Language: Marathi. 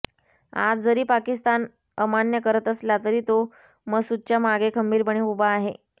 आज जरी पाकिस्तान अमान्य करत असला तरी तो मसूदच्या मागे खंबिरपणे उभा आहे